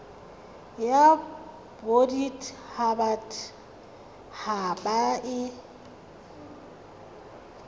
ya bodit habat haba e